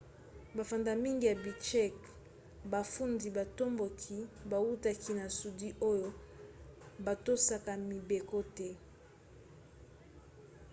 bafandi mingi ya bichkek bafundi batomboki bautaki na sudi oyo batosaka mibeko te